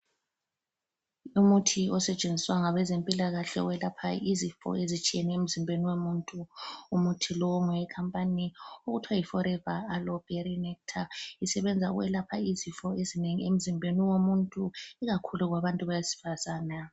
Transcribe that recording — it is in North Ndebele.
Umuthi osetshenziswa ngabezempilakahle owelapha izifo ezitshiyeneyo emzimbeni womuntu. Umuthi lo ngowekhampani okuthiwa yiForever Aloeberry Nectar isebenza ukwelapha izifo ezinengi emzimbeni womuntu ikakhulu kwabantu besifazana.